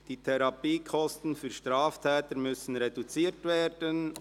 «Die Therapiekosten für Straftäter müssen reduziert werden».